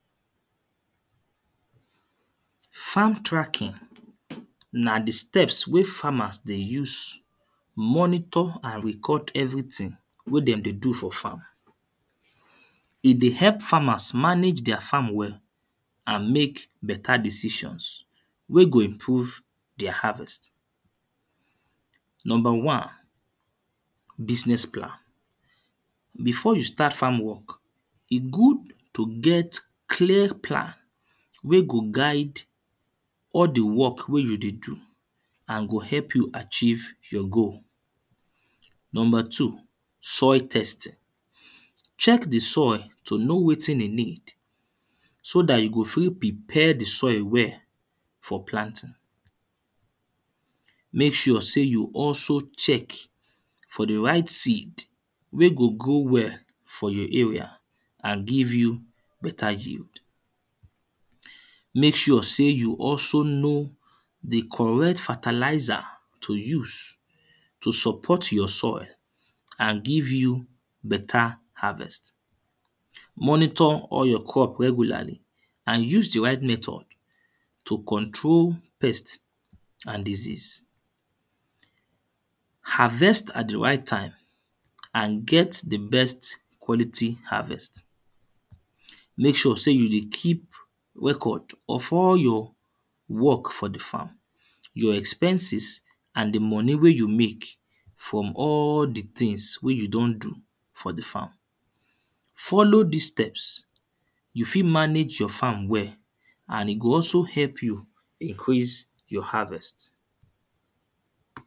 Farm tracking na the steps wey farmers dey use monitor and record everything wey them dey do for farm. E dey help farmers manage their farm well and make better decisions, wey go improve their harvest. Number one, business plan. Before you start farm work, e good to get clear plan wey go guide all the work wey you dey do and go help you achieve your goal. Number two, soil testing. Check the soil to know wetin e need so that you go fit prepare the soil well for planting. Make sure say you also check for the right seed wey go grow well for your area and give you better yield. Make sure say you also know the correct fertilizer to use to support your soil and give you better harvest. Monitor all your crop regularly and use the right method to control pest and disease. Harvest at the right time and get the best quality harvest. Make sure say you dey keep record of all your work for the farm, your expenses and the money wey you make from all the things wey you don do for the farm. Follow these steps, you fit manage your farm well and e go also help you increase your harvest.